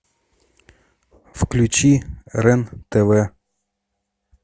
включи рен тв